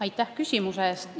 Aitäh küsimuse eest!